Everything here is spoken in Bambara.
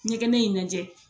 Ɲɛgɛnɛ in lajɛ.